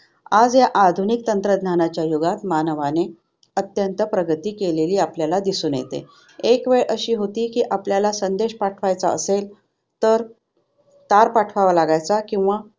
आज या आधुनिक तंत्रज्ञानाच्या युगात मानवाने अत्यंत प्रगती केलेली आपल्याला दिसून येते. एक वेळ अशी होती की आपल्याला संदेश पाठवायचा असेल तर तार पाठवावा लागायचा किंवा